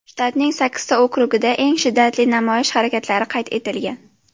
Shtatning sakkizta okrugida eng shiddatli namoyish harakatlari qayd etilgan.